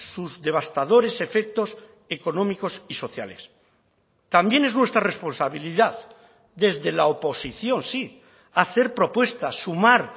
sus devastadores efectos económicos y sociales también es nuestra responsabilidad desde la oposición sí hacer propuestas sumar